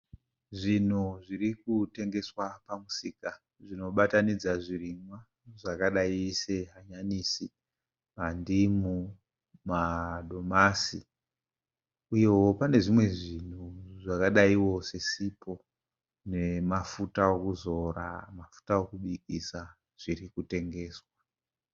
Zvinhu zviri kutengeswa pamusika zvinobatanidza zvirimwa zvakadayi sehanyanisi, ndimu, madomasi uyewo pane zvimwe zvinhu zvakadaiwo sesipo nemafuta okuzora, mafuta okubikisa zviri kutengeswa.